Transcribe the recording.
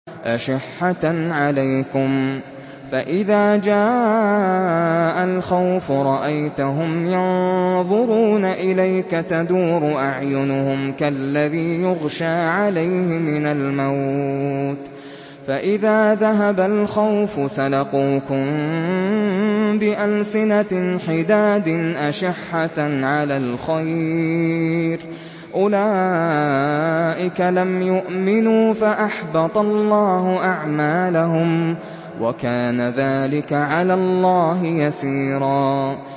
أَشِحَّةً عَلَيْكُمْ ۖ فَإِذَا جَاءَ الْخَوْفُ رَأَيْتَهُمْ يَنظُرُونَ إِلَيْكَ تَدُورُ أَعْيُنُهُمْ كَالَّذِي يُغْشَىٰ عَلَيْهِ مِنَ الْمَوْتِ ۖ فَإِذَا ذَهَبَ الْخَوْفُ سَلَقُوكُم بِأَلْسِنَةٍ حِدَادٍ أَشِحَّةً عَلَى الْخَيْرِ ۚ أُولَٰئِكَ لَمْ يُؤْمِنُوا فَأَحْبَطَ اللَّهُ أَعْمَالَهُمْ ۚ وَكَانَ ذَٰلِكَ عَلَى اللَّهِ يَسِيرًا